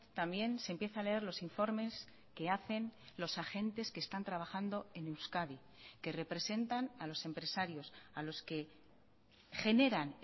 también se empieza a leer los informes que hacen los agentes que están trabajando en euskadi que representan a los empresarios a los que generan